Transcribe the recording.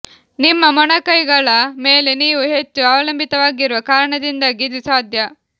ನಿಮ್ಮ ಮೊಣಕೈಗಳ ಮೇಲೆ ನೀವು ಹೆಚ್ಚು ಅವಲಂಬಿತವಾಗಿರುವ ಕಾರಣದಿಂದಾಗಿ ಇದು ಸಾಧ್ಯ